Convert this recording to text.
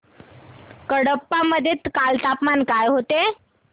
कडप्पा मध्ये काल तापमान काय होते